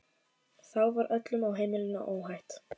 Þá var öllum á heimilinu óhætt.